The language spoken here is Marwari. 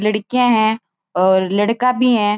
लड़किया है और लड़का भी है।